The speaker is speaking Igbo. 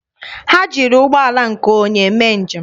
Ha jiri ụgbọala nke onye mee njem.